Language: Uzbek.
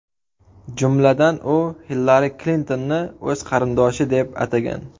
Jumladan, u Hillari Klintonni o‘z qarindoshi deb atagan.